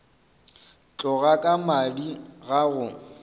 tloga ka madi ga go